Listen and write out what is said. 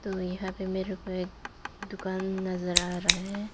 और यहां पे मेरे को एक दुकान नजर आ रहा है।